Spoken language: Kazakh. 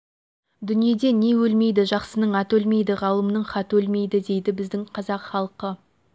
дүниеде не өлмейді жақсының аты өлмейді ғалымның хаты өлмейді дейді біздің қазақ халқы